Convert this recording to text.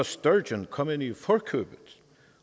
sturgeon kom hende i forkøbet